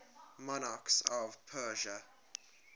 monarchs of persia